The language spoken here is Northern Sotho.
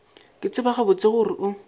ke tseba gabotse gore o